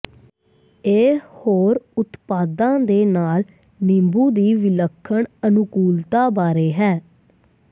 ਇਹ ਹੋਰ ਉਤਪਾਦਾਂ ਦੇ ਨਾਲ ਨਿੰਬੂ ਦੀ ਵਿਲੱਖਣ ਅਨੁਕੂਲਤਾ ਬਾਰੇ ਹੈ